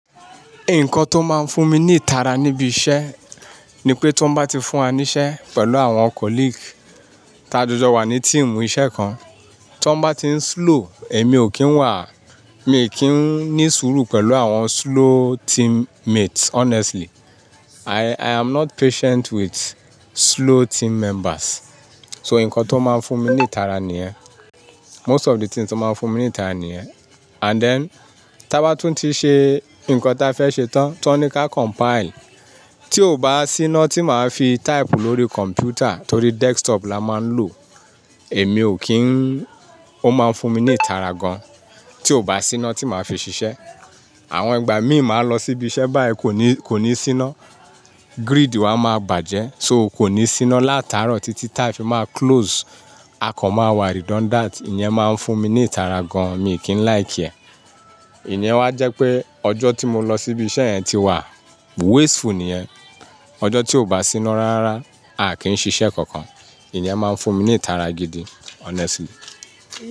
Nǹkan tó máa ń fún mi ní ìtara níbi iṣẹ́ ni pé tó bá ti fún wa níṣẹ́ pẹ̀lú àwọn colleague, tá jọjọ wà ní team iṣẹ́ kan, tó bá ti ń slow, èmi ò kí ń wà, mi ò kí ń ní sùúrù pẹ̀lú àwọn slow team mates honestly. I, i am not patient with slow team members. So, nǹkan tó máa ń fún mi ní ìtara nìyẹn. Most of the things tó máa ń fún mi ní ìtara nìyẹn. And then, tó bá tún ti ṣe nǹkan ta fẹ́ ṣe tán, ti wọ́n ní ká compile, tí ò bá sí iná tí màá fi type lórí kọ̀m̀pútà torí desktop la máa ń lò, èmi ò kí ń, ó máa ń fún mi ní ìtara gan. Tí ò bá sí iná tí màá fi ṣiṣẹ́, àwọn ìgbà mi màá lọ síbi iṣẹ́ báyìí kò ní, kò ní sí iná, grid wà máa bàjẹ́ so kò ní sí iná látàárọ̀ títí táa fi má close. Akàn máa wà redundant, ìyẹn máa ń fún mi ní ìtara gan, mi ò kí ń like ẹ̀. Ìyen wá jẹ́ pé ọjọ́ tí mo lọ síbi iṣẹ́ yẹn ti wà wasteful nìyẹn. Ọjọ́ tí ò bá sí iná rárá, a kì í ṣiṣẹ́ kankan. Ìní ẹ máa ń fún mi ní ìtara gidi honestly.